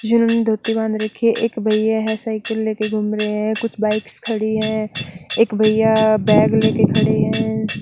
जिन्होंने धोती बांध रखी है एक भैया है साइकिल ले के घूम रहे हैं कुछ बाइक्स खड़ी हैं एक भैया बैग ले के खड़े हैं।